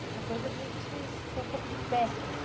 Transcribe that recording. Outra coisa é a gente ter um pouco de técnica.